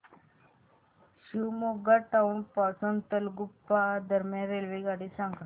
Shivamogga town पासून तलगुप्पा दरम्यान रेल्वेगाड्या सांगा